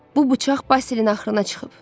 Bu bıçaq Basilin axırına çıxıb.